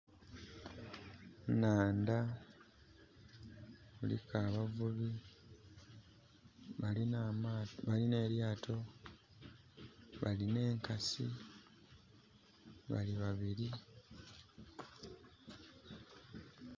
Nnandha kuliku abavubi balina elyaato, balina enkasi, bali babiri